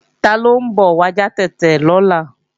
Taló ń bọ̀ wá já tètè lọ́la